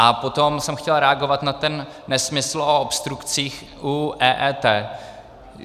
A potom jsem chtěl reagovat na ten nesmysl o obstrukcích u EET.